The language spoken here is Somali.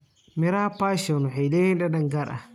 Miraha passion waxay leeyihiin dhadhan gaar ah.